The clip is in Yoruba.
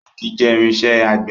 Réèkì jẹ́ irinṣẹ́ àgbẹ̀.